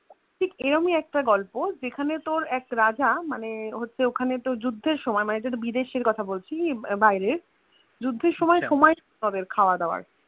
ঠিক এরওমি একটা গল্প যেখানে তোর এক রাজা মানে হচ্ছে ওখানে তোর যুদ্ধের আমায় বিদেশের কথা বলছি বাইরের যুদ্ধের সময় হবে ওদের খাবা দাবা